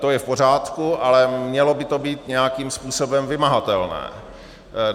To je v pořádku, ale mělo by to být nějakým způsobem vymahatelné.